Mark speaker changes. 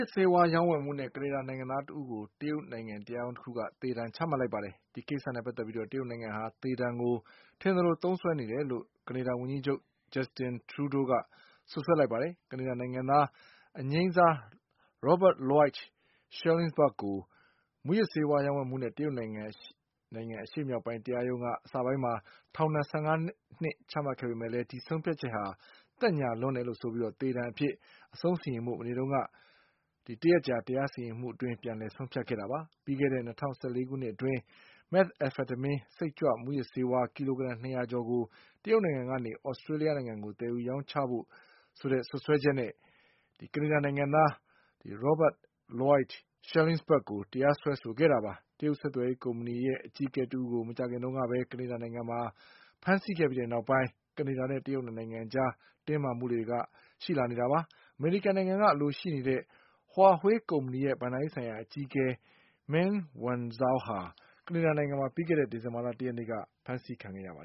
Speaker 1: စ်ဆေးဝါးရောင်းဝယ်မှုနဲ့ ကနေဒါနိုင်ငံသားတဦးကို တရုတ်နိုင်ငံတရားရုံးတခုက သေဒဏ်ချမှတ်လိုက်ပါတယ်။ ဒီကိစ္စ နဲ့ပတ်သက်ပြီး တရုတ်နိုင်ငံဟာ သေဒဏ်ကို ထင်သလိုသုံးစွဲနေတယ်လို့ ကနေဒါဝန်ကြီးချုပ် Justin Trudeau ကစွပ်စွဲ လိုက်ပါတယ်။ ကနေဒါနိုင်ငံသား အငြိမ်းစား Robert Lloyd Schellenberg ကို မူးယစ်ဆေးဝါးရောင်းဝယ်မှုနဲ့ တရုတ်နိုင်ငံ အရှေ့မြောက်ပိုင်း တရားရုံးက အစပိုင်းမှာ ထောင်ဒဏ်၁၅နှစ်ချမှတ်ခဲ့ပေမဲ့လည်း ဒီဆုံးဖြတ်ချက်က သက်ညှာလွန်းတယ် ဆိုပြီး သေဒဏ်ပေးကွက်မျက်ဖို့ တနင်္လာနေ့မနေ့နေ့တုန်းက တရက်ကြာ ပြန်လည်တရားစီရင်မှုအတွင်းဆုံးဖြတ်ခဲ့တာပါ။ ပြီးခဲ့တဲ့ ၂၀၁၄ခုနှစ်အတွင်း မက်သ်အဖက်တမင်း စိတ်ကြွမူးယစ်ဆေးဝါး ကီလိုဂရမ်၂ရာကျော်ကို တရုတ်နိုင်ငံကနေ သြစတေး လျှနိုင်ငံကိုသယ်ယူရောင်းချမှုဆိုတဲ့ စွပ်စွဲချက်နဲ့ ကနေဒါနိုင်ငံသား Robert Lloyd Schellenbergကိုတရားစွဲဆိုခဲ့တာပါ။ တရုတ်ဆက်သွယ်ရေးကုမ္ပဏီရဲ့အကြီးအကဲတဦးကို မကြာခင်တုန်းကပဲ ကနေဒါနိုင်ငံမှာဖမ်းဆီးခဲ့ပြီးတဲ့နောက်ပိုင်း တရုတ်နဲ့ ကနေဒါ၂နိုင်ငံအကြားတင်းမာမှုတွေကရှိလာနေတာပါ။ အမေရိကန်နိုင်ငံကအလိုရှိနေတဲ့ Huawei ကုမ္ပဏီရဲ့ ဘဏ္ဍာရေးဆိုင်ရာအကြီးအကဲ Meng Wanzhouဟာ ကနေဒါနိုင်ငံမှာ ပြီးခဲ့တဲ့ဒီဇင်ဘာလ၁ရက်နေ့က ဖမ်းဆီးခံခဲ့တာပါ